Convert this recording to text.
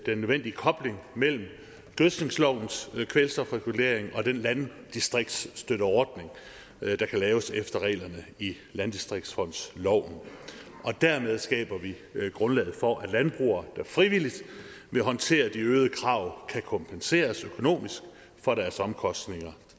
den nødvendige kobling mellem gødskningslovens kvælstofregulering og den landdistriktsstøtteordning der kan laves efter reglerne i landdistriktsfondsloven og dermed skaber vi grundlaget for at landbrugere der frivilligt vil håndtere de øgede krav kan kompenseres økonomisk for deres omkostninger